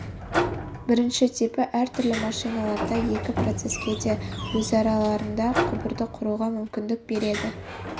бірінші типі әртүрлі машиналарда екі процеске де өзараларында құбырды құруға мүмкіндік береді